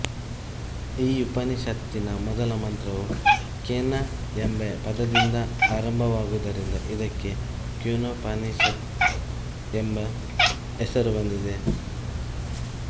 ಈ ಉಪನಿಷತ್ತಿನ ಮೊದಲ ಮಂತ್ರವು ಕೇನ ಎಂಬ ಪದದಿಂದ ಆರಂಭವಾಗುವದರಿಂದ ಇದಕ್ಕೆ ಕೇನೋಪನಿಷತ್ ಎಂಬ ಹೆಸರು ಬಂದಿದೆ